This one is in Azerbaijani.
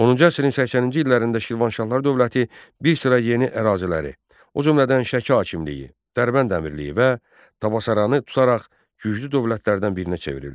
Onuncu əsrin 80-ci illərində Şirvanşahlar dövləti bir sıra yeni əraziləri, o cümlədən Şəki hakimliyini, Dərbənd Əmirliyi və Təbəsaranı tutaraq güclü dövlətlərdən birinə çevrildi.